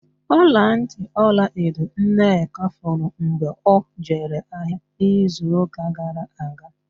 Ọlantị ọlaedo Nneka furu mgbe ọ jere ahịa n'izuụ́kà gara aga.